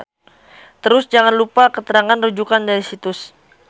Terus jangan lupa keterangan rujukan dari situs.